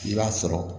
I b'a sɔrɔ